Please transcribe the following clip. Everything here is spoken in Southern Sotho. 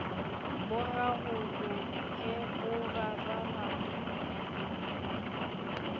bo rarolohe bo rarana le